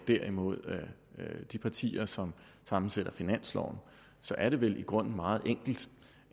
derimod er de partier som sammensætter finansloven så er det vel i grunden meget enkelt